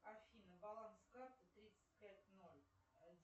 афина баланс карты тридцать пять ноль